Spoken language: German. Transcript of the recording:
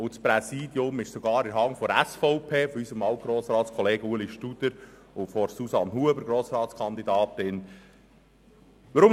Zudem ist das Präsidium mit unserem Alt-Grossrat Ueli Studer und der Grossratskandidatin Susanne Huber sogar in der Hand der SVP.